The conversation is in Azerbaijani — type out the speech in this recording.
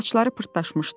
Saçları pırtdaşmışdı.